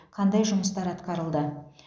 қандай жұмыстар атқарылды